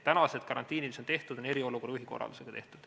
Tänased karantiinid, mis on kehtestatud, on eriolukorra juhi korraldusega kehtestatud.